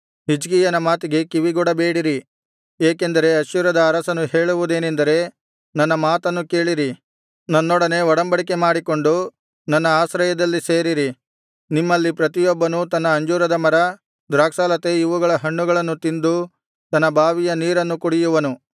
ಹಿಜ್ಕೀಯನ ಮಾತಿಗೆ ಕಿವಿಗೊಡಬೇಡಿರಿ ಏಕೆಂದರೆ ಅಶ್ಶೂರದ ಅರಸನು ಹೇಳುವುದೇನೆಂದರೆ ನನ್ನ ಮಾತನ್ನು ಕೇಳಿರಿ ನನ್ನೊಡನೆ ಒಡಂಬಡಿಕೆ ಮಾಡಿಕೊಂಡು ನನ್ನ ಆಶ್ರಯದಲ್ಲಿ ಸೇರಿರಿ ನಿಮ್ಮಲ್ಲಿ ಪ್ರತಿಯೊಬ್ಬನೂ ತನ್ನ ಅಂಜೂರದ ಮರ ದ್ರಾಕ್ಷಾಲತೆ ಇವುಗಳ ಹಣ್ಣುಗಳನ್ನು ತಿಂದು ತನ್ನ ಬಾವಿಯ ನೀರನ್ನು ಕುಡಿಯುವನು